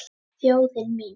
Þjóðin mín.